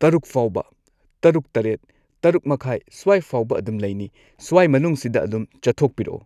ꯇꯔꯨꯛ ꯐꯥꯎꯕ ꯇꯔꯨꯛ ꯇꯔꯦꯠ ꯇꯔꯨꯛ ꯃꯈꯥꯏ ꯁ꯭ꯋꯥꯢꯐꯥꯎꯕ ꯑꯗꯨꯝ ꯂꯩꯅꯤ ꯁ꯭ꯋꯥꯏ ꯃꯅꯨꯡꯁꯤꯗ ꯑꯗꯨꯝ ꯆꯠꯊꯣꯛꯄꯤꯔꯛꯑꯣ꯫